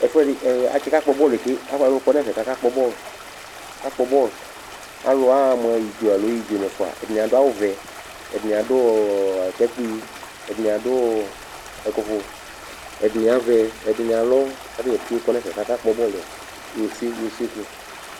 Ɛfʋɛdɩ ɛ atsɩkakpɔ bɔlʋ yɛ ke Ɛvʋla alʋ kɔ nʋ ɛfɛ kʋ akakpɔ bɔlʋ, akakpɔ bɔlʋ Alʋ aɣa mʋ idzo alo idzo nʋ ɛfʋa Atanɩ adʋ awʋvɛ, ɛdɩnɩ adʋ ɔ ɔ atakpui, ɛdɩnɩ adʋ ɔ ɛkʋfʋ, ɛdɩnɩ avɛ, ɛdɩnɩ alɔ kʋ ata dza pete kɔ nʋ ɛfɛ kʋ akakpɔ bɔlʋ yɛ ose nʋ ose sʋ